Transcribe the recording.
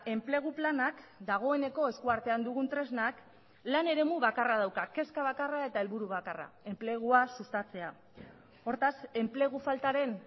enplegu planak dagoeneko esku artean dugun tresnak lan eremu bakarra dauka kezka bakarra eta helburu bakarra enplegua sustatzea hortaz enplegu faltaren